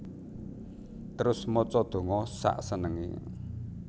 Terus maca donga sak senengé